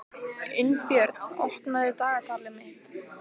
Unnbjörn, opnaðu dagatalið mitt.